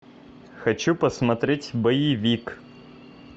хочу посмотреть боевик